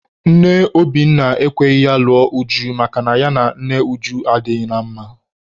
Nne Obinna ekweghị ya lụọ Uju makana ya na nne Uju adịghị na mma.